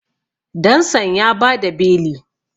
dansan ya ba da beli